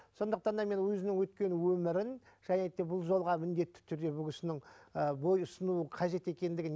сондықтан да мен өзінің өткен өмірін және де бұл жолға міндетті түрде бұл кісінің і бой ұсынуын қажет екендігін